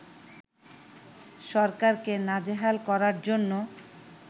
সরকারকে নাজেহাল করার জন্য